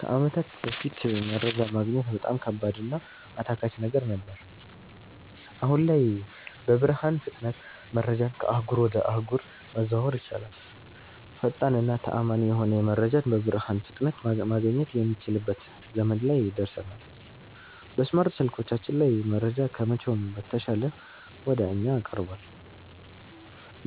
ከአመታት በፋት መረጃ ማግኘት በጣም ከባድ እና አታካች ነገር ነበር። አሁን ላይ በብርሃን ፍጥነት መረጃን ከአህጉር ወጀ አህጉር ማዘዋወር ይቻላል። ፈጣን እና ተአመኒ የሆነ መረጃን በብርሃን ፍጥነት ማገኘት የሚችልበት ዘመን ላይ ደርሠናል። በስማርት ስልኮቻችን ላይ መረጃ ከመቼውም በተሻለ ወደ እኛ ቀርቧል።